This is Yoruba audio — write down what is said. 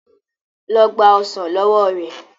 lọ gba ọsán ló wọ rẹ.